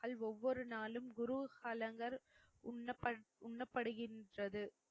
மக்கள் ஒவ்வொரு நாளும் குரு ஹலங்கள் உண்ணபடு உண்ணப்படுகின்றது